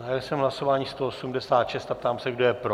Zahájil jsem hlasování 186 a ptám se, kdo je pro.